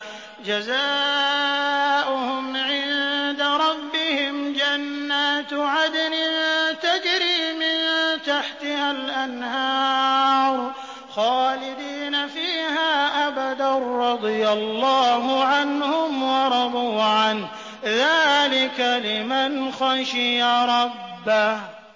جَزَاؤُهُمْ عِندَ رَبِّهِمْ جَنَّاتُ عَدْنٍ تَجْرِي مِن تَحْتِهَا الْأَنْهَارُ خَالِدِينَ فِيهَا أَبَدًا ۖ رَّضِيَ اللَّهُ عَنْهُمْ وَرَضُوا عَنْهُ ۚ ذَٰلِكَ لِمَنْ خَشِيَ رَبَّهُ